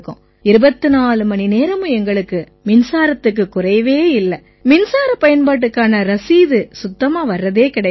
24 மணிநேரமும் எங்களுக்கு மின்சாரத்துக்குக் குறைவே இல்லை மின்சாரப் பயன்பாட்டுக்கான ரசீது சுத்தமா வர்றதே கிடையாது